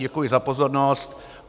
Děkuji za pozornost.